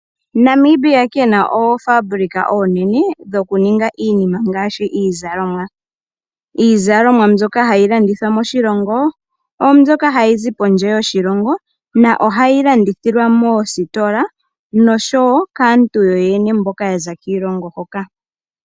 Namibia kena oofabulika oonene dhokuninga iinima ngaashi iizalomwa. Iizalomwa mbyoka hayi landithwa moshilongo ohayi zi kondje yoshilongo. Ohayi landithilwa moositola oshow kaantu yoyene mboka yaza kiilongo hoka.